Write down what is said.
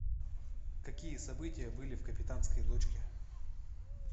какие события были в капитанской дочке